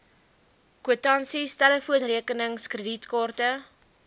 kwitansies telefoonrekenings kredietkaarte